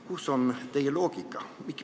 Kus on teie loogika?